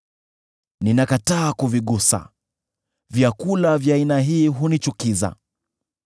Ninakataa kuvigusa; vyakula vya aina hii hunichukiza.